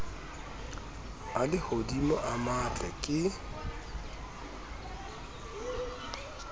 a lehodimo a matle ke